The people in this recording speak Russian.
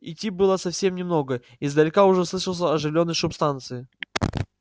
идти было совсем немного издалека уже слышался оживлённый шум станции